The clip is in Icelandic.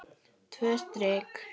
Tvö strik.